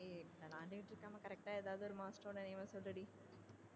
விளையாண்டுட்டு இருக்கமா correct ஆ ஏதாவது master ஓட name அ சொல்லு டி